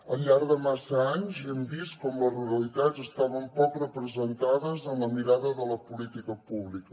al llarg de massa anys hem vist com les ruralitats estaven poc representades en la mirada de la política pública